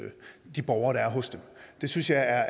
de borgere der er hos dem det synes jeg er